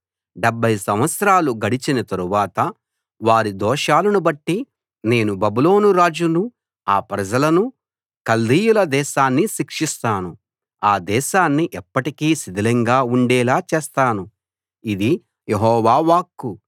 డెబ్భై సంవత్సరాలు గడచిన తరువాత వారి దోషాలనుబట్టి నేను బబులోను రాజును ఆ ప్రజలను కల్దీయుల దేశాన్ని శిక్షిస్తాను ఆ దేశాన్ని ఎప్పటికీ శిథిలంగా ఉండేలా చేస్తాను ఇది యెహోవా వాక్కు